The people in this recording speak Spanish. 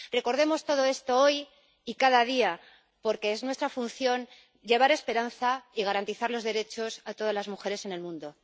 Recordemos todo esto hoy y cada día, porque es nuestra función llevar esperanza y garantizar los derechos a todas las mujeres en el mundo.